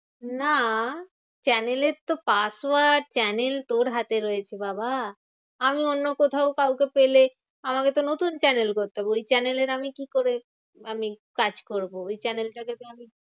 না, channel এর তো password channel তোর হাতে রয়েছে বাবা। আমি অন্য কোথাও কাউকে পেলে আমাকেতো নতুন channel করতে হবে। ওই channel এর আমি কি করে আমি কাজ করবো? ওই channel টাকে তো আমি